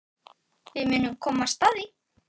Við munum komast að því.